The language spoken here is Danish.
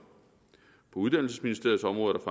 på uddannelsesministeriets område